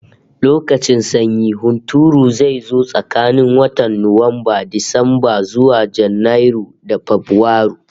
Lokacin sanyin hunturu zai zo tsakanin watan Nuwamba, Disamba, zuwa Janairu da Fabrairu